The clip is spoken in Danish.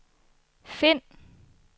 find